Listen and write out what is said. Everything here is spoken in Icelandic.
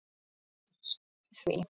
Hverjir stóðu að því?